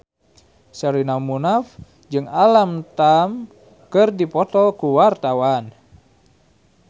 Sherina Munaf jeung Alam Tam keur dipoto ku wartawan